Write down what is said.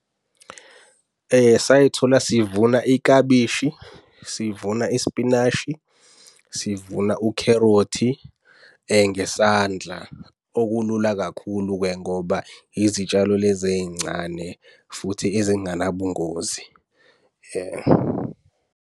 Say'thola sivuna iklabishi, sivuna ispinashi, sivuna ukherothi ngesandla. Okulula kakhulu-ke ngoba izitshalo lezi ey'ncane futhi ezinganabungozi.